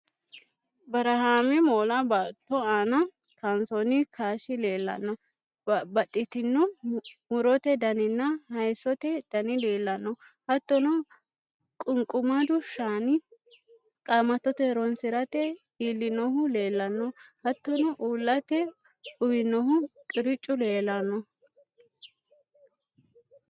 Barahaame moola baatto aana kaansoonni kaashshi leellanno: Babbaxxitino mu'rote daninna hayissote dani leellanno hattono qunqumadu Shaani Qaamattote ho'ronsi'rate iillinohu leellanno hattono uullate uwinohu qiriccu leellanno